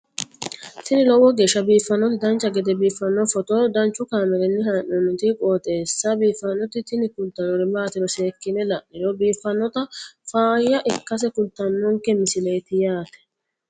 tini lowo geeshsha biiffannoti dancha gede biiffanno footo danchu kaameerinni haa'noonniti qooxeessa biiffannoti tini kultannori maatiro seekkine la'niro biiffannota faayya ikkase kultannoke misileeti yaate